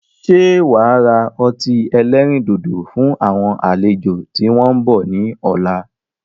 Ṣé wá ra ọtí ẹlẹ́rìndòdò fún àwọn àlejò tí wọn ń bọ̀ ni ọ̀la?